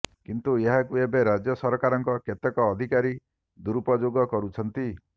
କିନ୍ତୁ ଏହାକୁ ଏବେ ରାଜ୍ୟ ସରକାରଙ୍କ କେତେକ ଅଧିକାରୀ ଦୁରୁପଯୋଗ କରୁଛନ୍ତି